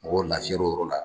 Mɔgɔ lafiyal'o yɔrɔ la;